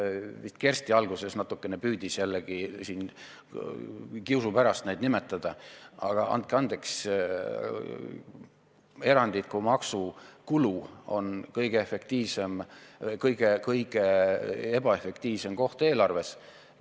Vist Kersti alguses natukene püüdis jällegi kiusu pärast neid nimetada, aga andke andeks, erandliku maksu kulu on kõige ebaefektiivsem koht eelarves.